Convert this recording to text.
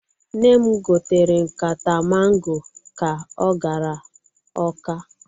Nne m gotere nkata mango ka o gara Ọka.